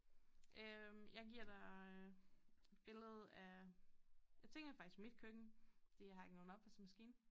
Øh jeg giver dig øh billede af jeg tænker faktisk mit køkken fordi jeg har ikke nogen opvaskemaskine